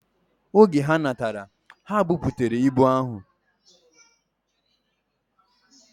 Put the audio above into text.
Oge ha natara, ha buputere ibu ahu.